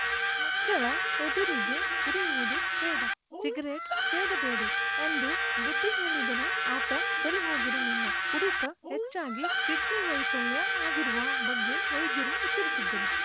ಮಕ್ಕಳ ಎದುರಿಗೆ ಕುಡಿಯುವುದು ಬೇಡ ಸಿಗರೆಟ್‌ ಸೇದಬೇಡಿ ಎಂದು ಬುದ್ಧಿ ಹೇಳಿದರೂ ಆತ ಸರಿ ಹೋಗಿರಲಿಲ್ಲ ಕುಡಿತ ಹೆಚ್ಚಾಗಿ ಕಿಡ್ನಿ ವೈಫಲ್ಯ ಆಗಿರುವ ಬಗ್ಗೆ ವೈದ್ಯರು ಎಚ್ಚರಿಸಿದ್ದರು